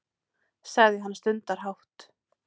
sagði hann stundarhátt.